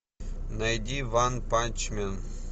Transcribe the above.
найди ванпанчмен